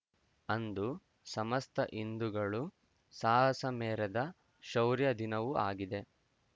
ಅಂದು ಸಮಸ್ತ ಹಿಂದುಗಳು ಸಾಹಸ ಮೆರೆದ ಶೌರ್ಯ ದಿನವೂ ಆಗಿದೆ